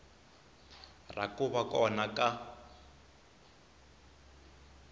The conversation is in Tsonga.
ra ku va kona ka